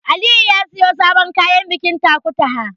Aliyu ya siyo sabon kayan bikin Takutaha.